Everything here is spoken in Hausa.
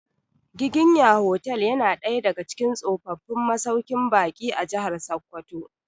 Giginya hotel ya na daya daga cikin tsofaffin masauƙin baƙi a Jahar Sokoto